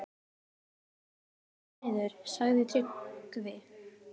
Þetta er búið að vera upp og niður, sagði Tryggvi.